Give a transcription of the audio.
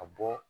A bɔ